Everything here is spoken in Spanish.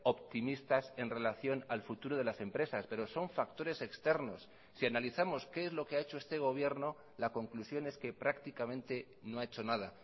optimistas en relación al futuro de las empresas pero son factores externos si analizamos qué es lo que ha hecho este gobierno la conclusión es que prácticamente no ha hecho nada